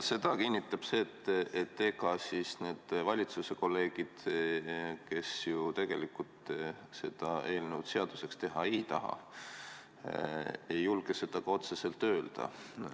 Seda kinnitab see, et ega need valitsuse kolleegid, kes ju tegelikult seda eelnõu seaduseks teha ei taha, ei julge seda ka otse öelda.